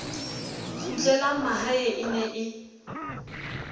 kgutlelang mahae e ne e